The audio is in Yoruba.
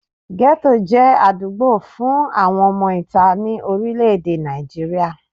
Gẹ́tò jẹ́ àdúgbò fun àwọn ọmọ ìta ní orílẹ̀ èdè Nàìjíríà